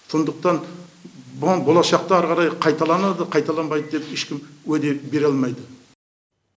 сондықтан бұған болашақта әрі қарай қайталанады қайталанбайды деп ешкім уәде бере алмайды